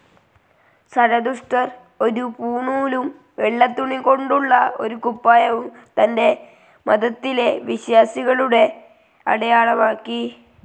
സരതുഷ്ട്രർ ഒരു പൂണൂലും വെള്ള തുണികൊണ്ടുള്ള ഒരു കുപ്പായവും തന്റെ മതത്തിലെ വിശ്വാസികളുടെ അടയാളമാക്കി.